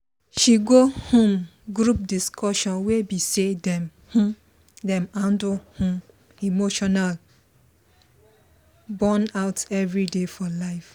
she go um group discussion wey be say dem um dey handle um emotional burnout everyday for life